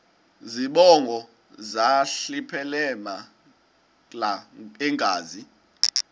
zibongo zazlphllmela engazi